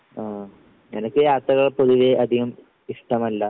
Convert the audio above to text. ഉം എനിക്ക് യാത്രകൾ പൊതുവേ അധികം ഇഷ്ടമല്ല.